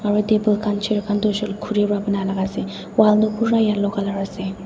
aro table khan chair khan tu hoishey koilae khuri pa banai la ase wall tu pura yellow colour ase.